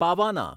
પાવાના